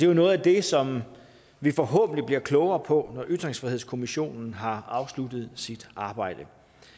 jo noget af det som vi forhåbentlig bliver klogere på når ytringsfrihedskommissionen har afsluttet sit arbejde